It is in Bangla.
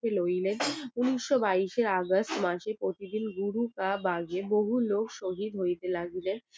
নইলেন ঊনিশোও বাইসের আগস্ট মাসে বহু লোক শহীদ হইতে লাগলেন